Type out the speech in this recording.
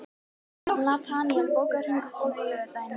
Nataníel, bókaðu hring í golf á laugardaginn.